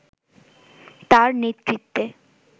তার নেতৃত্বে